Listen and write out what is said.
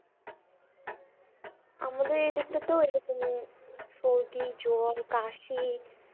আমাদের এদিকটাতেও এইরকমই সর্দি জ্বর কাশি,